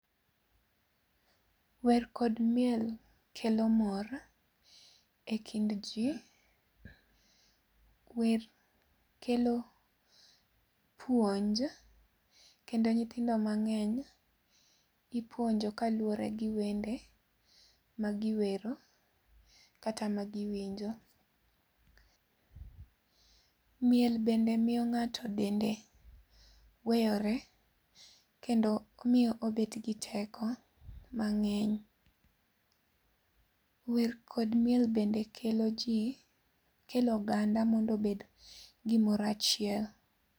Wer kod miel kelo mor e kind jii. Wer kelo puonj kendo nyithindo mang'eny ipuonjo kaluwore gi wende, ma giwero kata ma giwinjo Miel bende miyo ng'ato dende weyore kendo omiye obet gi teko mang'eny Wer kod miel bende kelo jii, kelo oganda mondo obed gimoro achiel